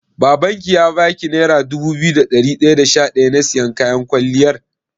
Babanki ya baki naira dubu biyu da dari daya da sha daya na siyan kayan kwalliyar?